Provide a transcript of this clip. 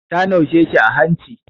Ta naushe shi a hanci.